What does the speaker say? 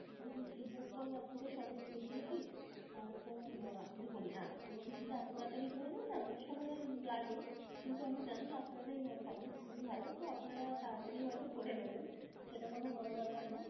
দেখুন! feedback তো আমি আপনাকে সবই দিয়ে দিয়েছি. আহ তো দেখুন আহ কোন কিছুতো এতো তাড়াতাড়ি হয়ে গেলো না, সময় লাগে কিন্তু আমি জানি আপনাদের service খুবই ভালো. তো আপনারা তাড়াতাড়ি হয়তো করে নেবেন, সেটা কোন বড় ব্যাপার না.